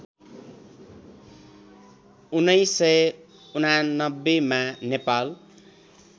१९८९ मा नेपाल